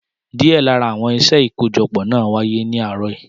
Díẹ̀ lára àwọn iṣẹ́ ìkójọpọ̀ náà wáyé ní àárọ̀ yìí.